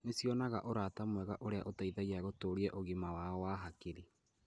Nĩ cionaga ũrata mwega ũrĩa ũteithagia gũtũũria ũgima wao wa hakiri.